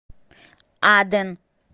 аден